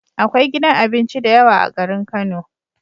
Akwai gidan abinci dayawa a garin kano